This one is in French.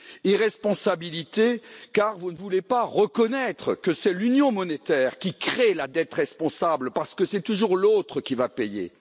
Irresponsabilité, car vous ne voulez pas reconnaître que c'est l'union monétaire qui crée la dette responsable parce que c'est toujours l'autre qui va payer.